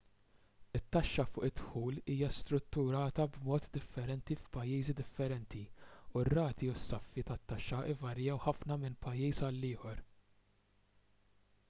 it-taxxa fuq id-dħul hija strutturata b'mod differenti f'pajjiżi differenti u r-rati u s-saffi tat-taxxa jvarjaw ħafna minn pajjiż għal ieħor